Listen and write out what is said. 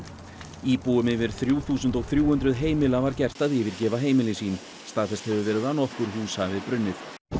íbúum yfir þrjú þúsund og þrjú hundruð heimila var gert að yfirgefa heimili sín staðfest hefur verið að nokkur hús hafi brunnið